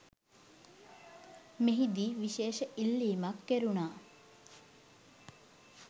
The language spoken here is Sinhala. මෙහිදී විශේෂ ඉල්ලීමක් කෙරුණා